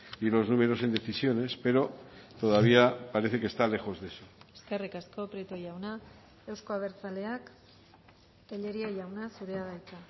y los números en decisiones pero todavía parece que está lejos de eso eskerrik asko prieto jauna euzko abertzaleak tellería jauna zurea da hitza